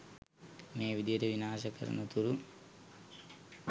මේ විදිහට විනාශ කරනතුරු